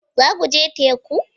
Za ku je teku?